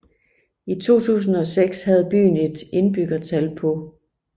I 2006 havde byen et indbyggertal på